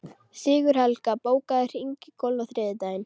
Sigurhelga, bókaðu hring í golf á þriðjudaginn.